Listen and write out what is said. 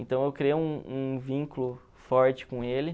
Então eu criei um um vínculo forte com ele.